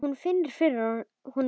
Hún finnur fyrir honum öllum.